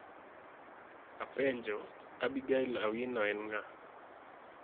Apenjo, Abigail Awino en ng'a?